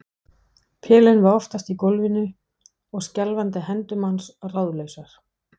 Pelinn var oftast í gólfinu og skjálfandi hendur manns ráðlausar.